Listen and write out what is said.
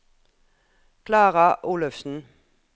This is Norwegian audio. Klara Olufsen